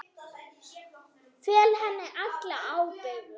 Fel henni alla ábyrgð.